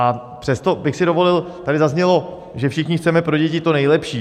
A přesto bych si dovolil, tady zaznělo, že všichni chceme pro děti to nejlepší.